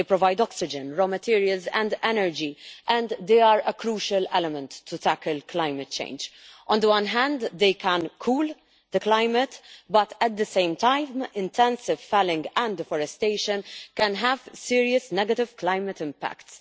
They provide oxygen, raw materials and energy and they are a crucial element to tackle climate change. On the one hand they can cool the climate, but at the same time intensive felling and deforestation can have serious negative climate impacts.